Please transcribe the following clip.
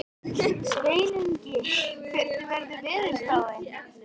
Sveinungi, hvernig er veðurspáin?